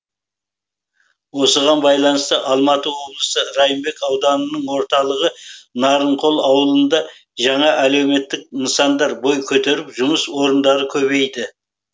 осыған байланысты алматы облысы райымбек ауданының орталығы нарынқол ауылында жаңа әлеуметтік нысандар бой көтеріп жұмыс орындары көбейді